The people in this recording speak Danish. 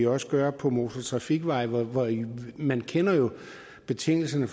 også gøre på motortrafikveje man kender jo betingelserne